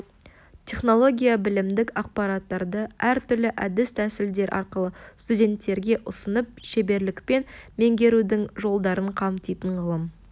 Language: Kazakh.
технология білімдік ақпараттарды әр түрлі әдіс-тәсілдер арқылы студенттерге ұсынып шеберлікпен меңгертудің жолдарын қамтитын ғылым